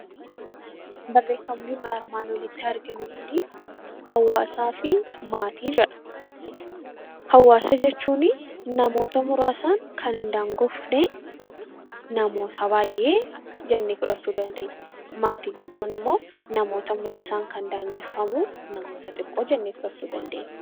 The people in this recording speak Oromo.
Hawaasa jechuun namoota muraasaan kan hin daangofne namoota baay'ee jennee fudhachuu dandeenya. Maatii jechuun immoo namoota muraasaan kan daanga'e namoota xiqqoo jennee fudhachuu dandeenya.